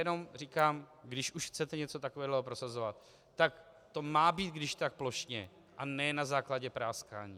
Jenom říkám, když už chcete něco takového prosazovat, tak to má být když tak plošně a ne na základě práskání.